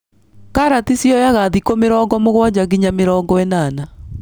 Karati cioyaga thikũ mĩrongo mũgwanja nginya mĩrongo ĩnana.